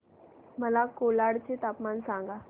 मला कोलाड चे तापमान सांगा